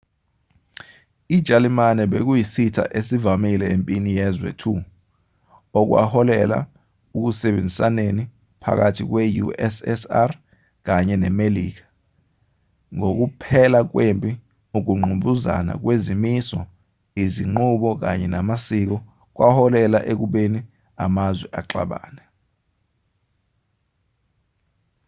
ijalimane bekuyisitha esivamile empini yezwe 2 okwaholela ekusebenzisaneni phakathi kwe-ussr kanye nemelika ngokuphela kwempi ukungqubuzana kwezimiso izinqubo kanye namasiko kwaholela ekubeni amazwe axabane